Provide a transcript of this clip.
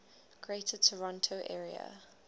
greater toronto area